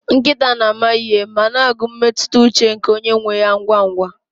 Nkịta na-ama ihe ma na-agụ mmetụta ụche nke onye nwe ha ngwa ngwa